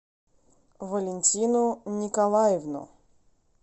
валентину николаевну